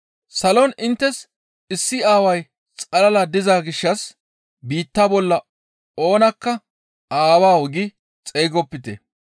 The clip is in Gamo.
Salon inttes issi Aaway xalala diza gishshas biitta bolla oonakka, ‹Aawawu!› gi xeygopite.